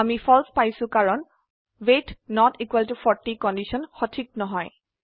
আমি ফালছে পাইছো কাৰণ ৱেইট নত ইকোৱেল ত 40 কন্ডিশন সঠিক নহয়